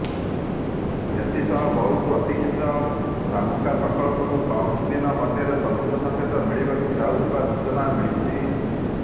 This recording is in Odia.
ଏଥିସହ ବହୁ ପ୍ରତିକ୍ଷୀତ ଶାମୁକା ପ୍ରକଳ୍ପକୁ କମଦିନ ମଧ୍ୟରେ ସବୁଜ ସଙ୍କେତ ମିଳିବାକୁ ଯାଉଥିବା ସୂଚନା ମିଳିଛି